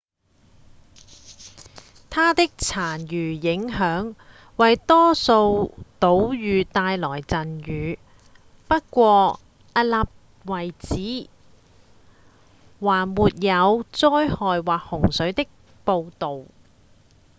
它的殘餘影響為多數島嶼帶來陣雨不過迄今為止還沒有災害或洪水的報導